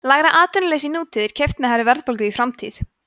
lægra atvinnuleysi í nútíð er keypt með hærri verðbólgu í framtíð